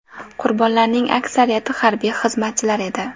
Qurbonlarning aksariyati harbiy xizmatchilar edi.